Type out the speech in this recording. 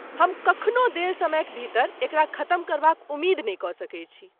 हम कखनो देल समयक भीतर एकरा खतम करबाक उमेद नहि कऽ सकैत छी।